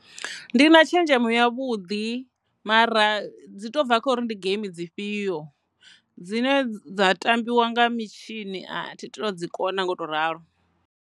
Ndi na tshenzhemo ya vhuḓi mara dzi to bva kha uri ndi game dzi fhio dzine dza tambiwa nga mitshini a thi todzi kona nga u to ralo.